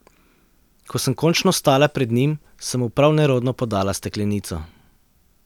Ko sem končno stala pred njim, sem mu prav nerodno podala steklenico.